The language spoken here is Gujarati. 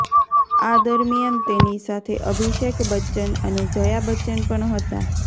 આ દરમિયાન તેની સાથે અભિષેક બચ્ચન અને જયાં બચ્ચન પણ હતા